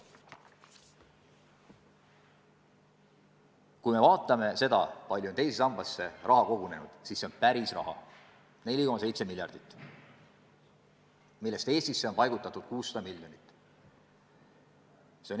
Kui me vaatame, kui palju on teise sambasse raha kogunenud, siis näeme, et seda raha on 4,7 miljardit, millest Eestisse on paigutatud 600 miljonit.